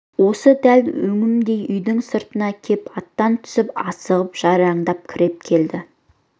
осы дәл өңімдей үйдің сыртына кеп аттан түсіп асығып жайраңдап кіріп келді